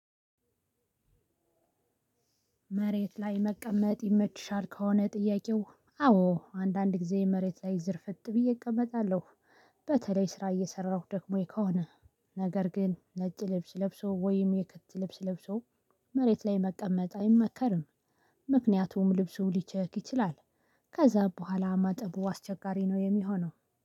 መሬት ላይ መቀመጥ ይመችሻል ከሆነ ጥያቄው አዎ አንዳንድ ጊዜ መሬት ላይ ዝርፍጥ ብዬ እቀመጣለሁ። በተለይ ስራ እየሰራሁ ደክሞኝ ከሆነ ነገር ግን ነጭ ልብስ ለብሶ ወይም የክት ልብስ ለብሶ። መሬት ላይ መቀመጥ አይመከርም። ምክንያቱም ልብሱ ሊቸክ ይችላል። ከዛ በኋላ ማጠቡ አስቸጋሪ ነው የሚሆነው